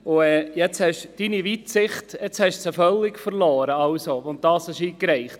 Sie haben Ihre Weitsicht völlig verloren, als Sie diesen eingereichten.